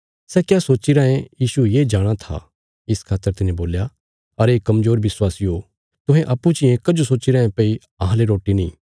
सै क्या सोच्ची रायें यीशु ये जाणाँ था इस खातर तिने बोल्या अरे कमजोर विश्वासियो तुहें अप्पूँ चियें कजो सोच्ची रायें भई अहांले रोटी नीं